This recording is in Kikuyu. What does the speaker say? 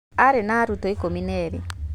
Arĩ na arutwo ake ikũmi na erĩ.